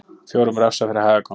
Fjórum refsað fyrir hægagang